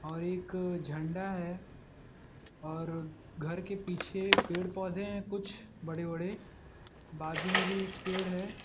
और एक झंडा है और घर के पीछे पेड़ पौधे हैं कुछ बड़े बड़े बाजू में भी एक पेड़ है।